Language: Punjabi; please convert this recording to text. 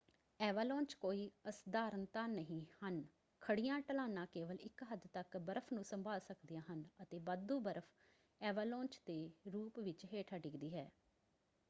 ਐਵਾਲਾਂਚ ਕੋਈ ਅਸਧਾਰਨਤਾ ਨਹੀਂ ਹਨ; ਖੜ੍ਹੀਆਂ ਢਲਾਣਾਂ ਕੇਵਲ ਇੱਕ ਹੱਦ ਤੱਕ ਬਰਫ਼ ਨੂੰ ਸੰਭਾਲ ਸਕਦੀਆਂ ਹਨ ਅਤੇ ਵਾਧੂ ਬਰਫ਼ ਐਵਾਲਾਂਚ ਦੇ ਰੂਪ ਵਿੱਚ ਹੇਠਾਂ ਡਿੱਗਦੀ ਹੈ।